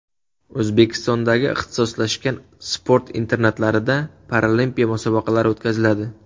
O‘zbekistondagi ixtisoslashgan sport internatlarida paralimpiya musobaqalari o‘tkaziladi.